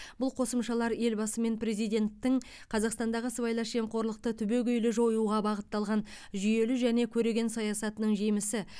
бұл қосымшалар елбасы мен президенттің қазақстандағы сыбайлас жемқорлықты түбегейлі жоюға бағытталған жүйелі және көреген саясатының жемісі